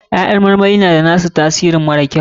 Ƴaƴan marmari na da na su tasirin mara kyau.